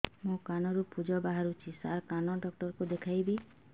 ମୋ କାନରୁ ପୁଜ ବାହାରୁଛି ସାର କାନ ଡକ୍ଟର କୁ ଦେଖାଇବି